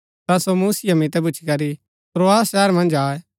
ता सो मूसिया मितै भूच्ची करी त्रोआस शहर मन्ज आये